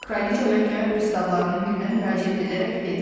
Kraliçə məhkəmə pristavlarının birinə müraciət edərək dedi.